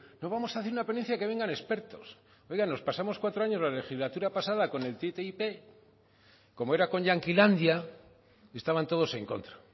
no vamos a hacer una ponencia que vengan expertos oiga nos pasamos cuatro años en la legislatura pasada con el ttip como era con yanquilandia estaban todos en contra